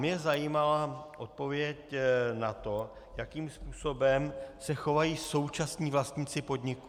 Mě zajímala odpověď na to, jakým způsobem se chovají současní vlastníci podniku.